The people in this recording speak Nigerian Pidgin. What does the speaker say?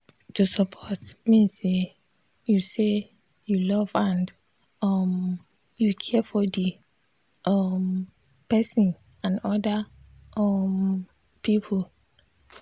to support mean say you say you love and um you care for the um person and other um people.